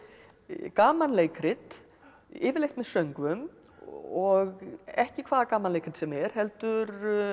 gamanleikrit yfirleitt með söngvum og ekki hvaða gamanleikrit sem er heldur